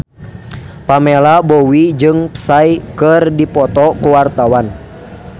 Pamela Bowie jeung Psy keur dipoto ku wartawan